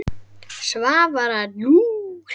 Svavar allur.